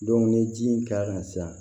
ni ji k'a kan sisan